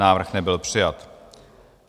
Návrh nebyl přijat.